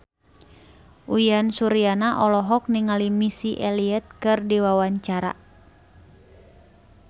Uyan Suryana olohok ningali Missy Elliott keur diwawancara